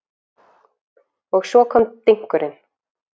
Og svo kom dynkurinn.